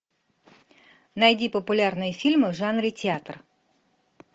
найди популярные фильмы в жанре театр